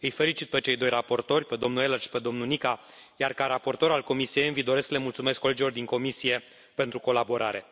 Îi felicit pe cei 2 raportori pe domnul Ehler și pe domnul Nica, iar, ca raportor al Comisiei ENVI, doresc să le mulțumesc colegilor din comisie pentru colaborare.